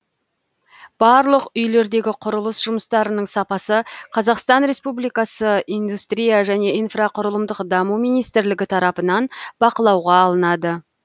барлық үйлердегі құрылыс жұмыстарының сапасы қазақстан республикасы индустрия және инфрақұрылымдық даму министрлігі тарапынан бақылауға алынады